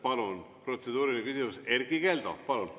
Palun, protseduuriline küsimus, Erkki Keldo!